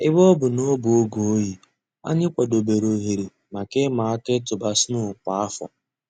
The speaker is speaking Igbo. Èbè ọ̀ bụ̀ nà ọ̀ bụ̀ ògè òyì, ànyị̀ kwàdèbèrè òhèrè mǎká ị̀mà àkà ị̀tụ̀bà snow kwa áfọ̀.